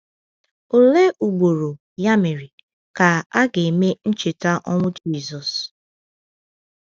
Olee ugboro, ya mere, ka a ga-eme ncheta ọnwụ Jisọs?